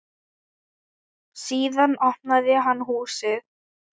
Síðan opnaði hann húsið.